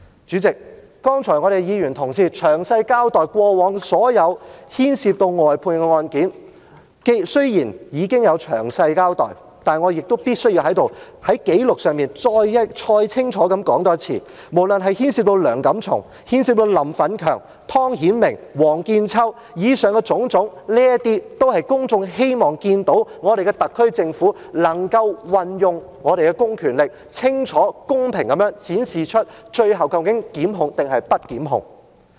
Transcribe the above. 主席，剛才議員同事詳細交代過往所有牽涉交由外判律師處理的案件，雖然已經有詳細交代，但我亦必須在此，在紀錄上再清楚說出，無論是牽涉梁錦松，牽涉林奮強、湯顯明或王見秋，以上種種，都是公眾希望看到，特區政府運用公權力，清楚公平地展示出最後究竟檢控還是不檢控的決定？